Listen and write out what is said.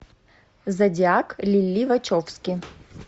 зодиак лили вачовски